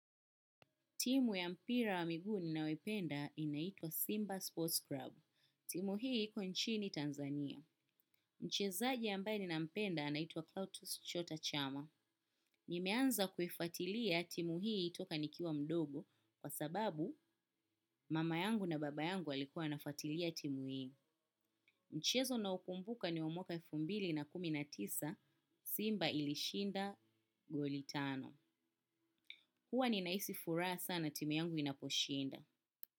Timu ya mpira wa miguu ninayoipenda inaitwa Simba Sports Club. Timu hii iko nchini Tanzania. Mchezaji ambaye ninampenda anaitwa Kautos Chota Chama. Nimeanza kuifatilia timu hii toka nikiwa mdogo kwa sababu mama yangu na baba yangu walikua nafatilia timu hii. Mchezo nao ukumbuka ni wa mwaka elfu mbili na kumi na tisa Simba ilishinda goli tano. Huwa ninahisi furaha sana timu yangu inaposhinda.